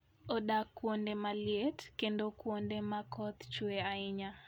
Odak kuonde maliet, kendo kuonde ma koth chue ahinya.